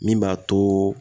Min b'a to